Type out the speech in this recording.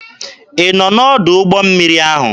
Ị nọ n'ọdụ ụgbọ mmiri ahụ?